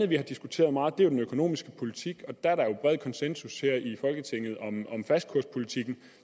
vi har diskuteret meget nemlig den økonomiske politik og der er der jo bred konsensus her i folketinget om fastkurspolitikken